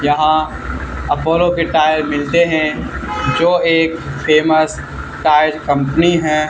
यहाँ अपोलो के टायर मिलते हैं जो एक फेमस टायर कंपनी हैं।